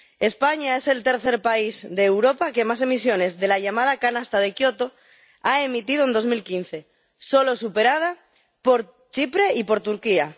España es el tercer país de Europa que más emisiones de la llamada canasta de Kioto ha emitido en 2015, solo superada por Chipre y por Turquía.